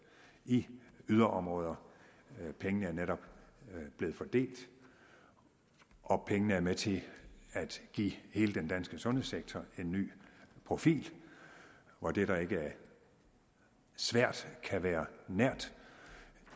i yderområder pengene er netop blevet fordelt og pengene er med til at give hele den danske sundhedssektor en ny profil hvor det der ikke er svært kan være nært